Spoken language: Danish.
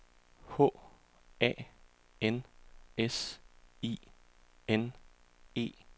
H A N S I N E